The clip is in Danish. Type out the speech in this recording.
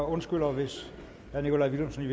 undskylder hvis herre nikolaj villumsen i